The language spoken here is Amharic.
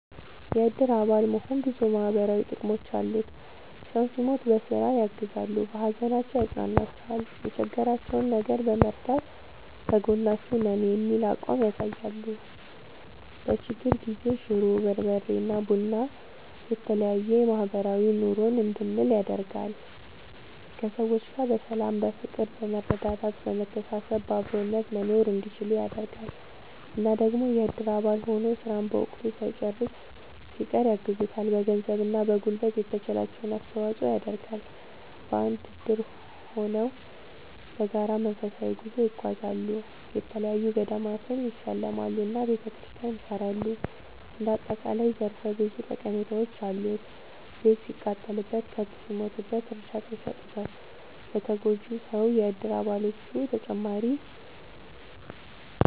የእድር አባል መሆን ብዙ ማህበራዊ ጥቅሞች አሉት ሰው ሲሞት በስራ ያግዛሉ። በሀዘናቸው ያፅኗኗቸዋል የቸገራቸውን ነገር በመርዳት ከጎናችሁ ነን የሚል አቋም ያሳያሉ። በችግር ጊዜ ሽሮ፣ በርበሬ እና ቡና የተለያዬ ማህበራዊ ኑሮን እንድንል ያደርጋል። ከሰዎች ጋር በሰላም በፍቅር በመረዳዳት በመተሳሰብ በአብሮነት መኖርእንዲችሉ ያደርጋል። እና ደግሞ የእድር አባል ሆኖ ስራን በወቅቱ ሳይጨርስ ሲቀር ያግዙታል በገንዘብ እና በጉልበት የተቻላቸውን አስተዋፅዖ ይደረጋል። በአንድ እድር ሆነው በጋራ መንፈሳዊ ጉዞ ይጓዛሉ፣ የተለያዪ ገዳማትን ይሳለማሉ እና ቤተክርስቲያን ያሰራሉ እንደ አጠቃላይ ዘርፈ ብዙ ጠቀሜታዎች አሉት። ቤት ሲቃጠልበት፣ ከብት ሲሞትበት እርዳታ ይሰጡታል ለተጎጂው ሰው የእድር አባሎቹ።…ተጨማሪ ይመልከቱ